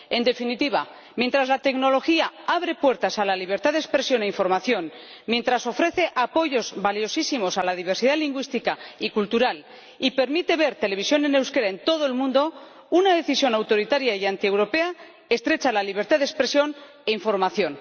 En definitiva, mientras la tecnología abre puertas a la libertad de expresión e información, mientras ofrece apoyos valiosísimos a la diversidad lingüística y cultural y permite ver televisión en euskera en todo el mundo, una decisión autoritaria y antieuropea estrecha la libertad de expresión e información.